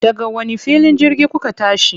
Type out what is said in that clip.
Daga wani filin jirgin kuka tashi?